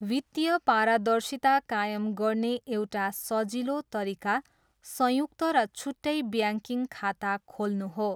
वित्तीय पारदर्शिता कायम गर्ने एउटा सजिलो तरिका संयुक्त र छुट्टै ब्याङ्किङ खाता खोल्नु हो।